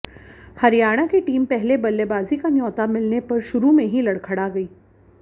हरियाणा की टीम पहले बल्लेबाजी का न्योता मिलने पर शुरू में ही लड़खड़ा गयी